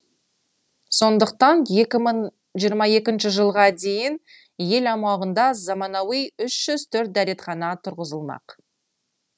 сондықтан екі мың жиырма екінші жылға дейін ел аумағында заманауи үш жүз төрт дәретхана тұрғызылмақ